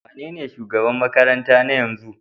Wanene shugaban makarantar na yanzu?